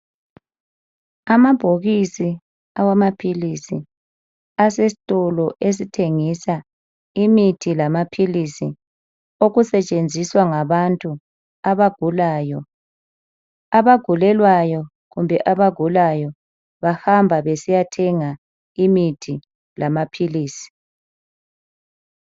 amabhokisi awamaphilisi asesitolo esithengisa imithi lamaphilisi okusetshenziswa ngabantu abagulayo abagulelwayo kumbe abagulayo bahamba besiyathenga imithi lamaphiisi